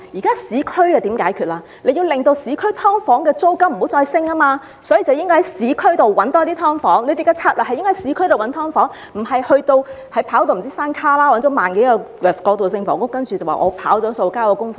當局應該要令市區的"劏房"租金不再上升，所以應該要在市區多找一些"劏房"，當局的策略應該是在市區找"劏房"，而不是跑去"山旮旯"找來1萬多個過渡性房屋單位，然後便說自己"跑數"成功，交了功課。